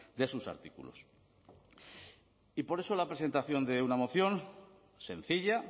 de sus artículos y por eso la presentación de una moción sencilla